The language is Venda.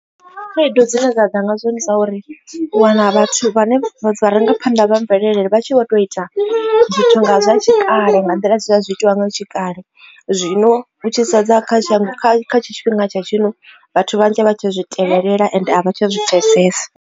Khaedu dzine dza ḓa nga zwo ndi zwa uri, u wana vhathu vhane vharangaphanḓa vha mvelele vha tshi vho to ita zwithu nga zwa tshikale nga nḓila zwe zwa zwi tshi itiwa nga tshikale, zwino hu tshi sedza kha shango kha tshifhinga tsha zwino vhathu vhanzhi vha tshi zwi tevhelela ende a vha tsha zwi pfhesesa.